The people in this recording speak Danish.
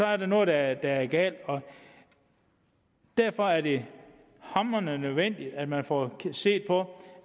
er noget der er galt derfor er det hamrende nødvendigt at man får set på